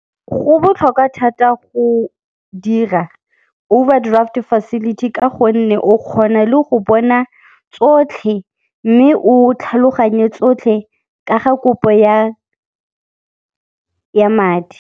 Go botlhokwa thata go dira overdraft facility ka gonne o kgona le go bona tsotlhe mme o tlhaloganye tsotlhe ka ga kopo ya madi.